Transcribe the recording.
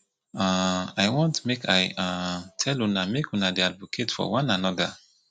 um i wan make i um tell una make una dey advocate for one another